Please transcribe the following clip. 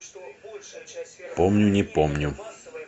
помню не помню